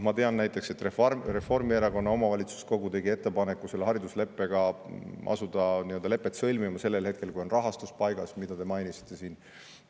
Ma tean näiteks, et Reformierakonna omavalitsuskogu tegi ettepaneku asuda hariduslepet sõlmima sellel hetkel, kui rahastus on paigas, nagu te mainisite siin.